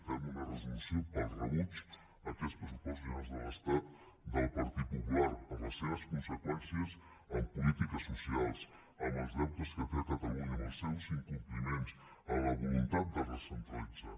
fem una resolució per al rebuig d’aquests pressupostos generals de l’estat del partit popular per les seves conseqüències en polítiques socials amb els deutes que té amb catalunya amb els seus incompliments amb la voluntat de recentralitzar